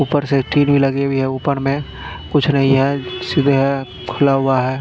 ऊपर से टीवी लगी हुई है ऊपर मे कुछ नहीं है खुला हुआ है।